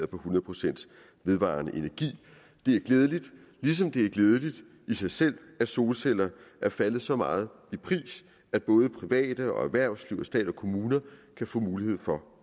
på hundrede procent vedvarende energi det er glædeligt ligesom det er glædeligt i sig selv at solceller er faldet så meget i pris at både private og erhvervsliv og stat og kommuner kan få mulighed for